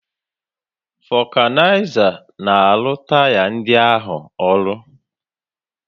Vulcanizer na-arụ taya ndị ahụ ọrụ